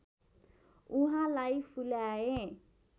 उहाँलाई फुल्याए